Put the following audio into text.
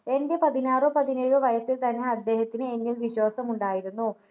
എൻ്റെ പതിനാറോ പതിനെഴോ വയസ്സിൽ തന്നെ അദ്ദേഹത്തിന് എന്നിൽ വിശ്വാസമുണ്ടായിരുന്നു